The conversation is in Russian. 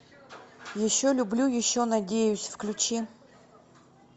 еще люблю еще надеюсь включи